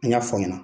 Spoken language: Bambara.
An y'a fɔ aw ɲɛna